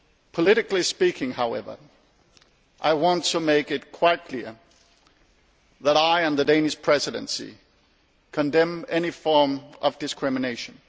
Politically speaking however, I want to make it quite clear that I and the Danish Presidency condemn any form of discrimination.